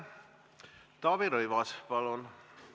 Taavi Rõivas, palun!